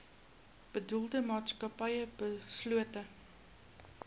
bedoelde maatskappy beslote